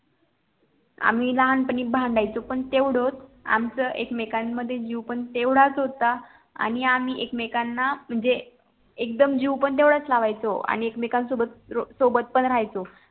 आम्ही लहान पणी भांडायचो पण तेवढच आमचं एकमेकांमध्ये जीव पण तेवढाच होता आणि आम्ही एकमेकांना म्हणजे एकदम जीव पण तेवढाच लावायचो आणि एकमेकांसोबत सोबत पण राहायचो